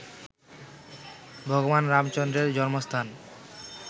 ভগবান রামচন্দ্রের জন্মস্থান